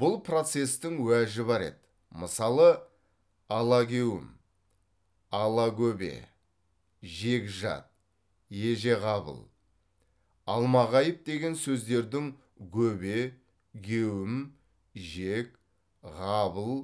бұл процестің уәжі бар еді мысалы алагеуім алагөбе жегжат ежеғабыл алмағайып деген сөздердің гөбе геуім жег ғабыл